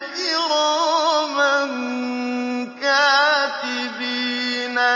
كِرَامًا كَاتِبِينَ